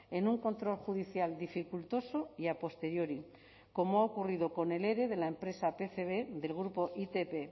en un control judicial dificultoso y a posteriori como ha ocurrido con el ere de la empresa pcb del grupo itp